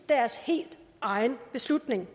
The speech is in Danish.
deres helt egen beslutning